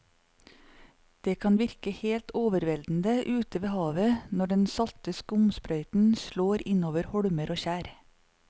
Det kan virke helt overveldende ute ved havet når den salte skumsprøyten slår innover holmer og skjær.